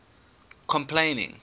complaining